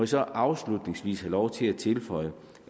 så afslutningsvis have lov til at tilføje